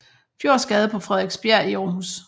Fjords Gade på Frederiksbjerg i Aarhus